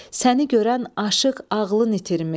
Səni görən aşiq ağlını itirmiş.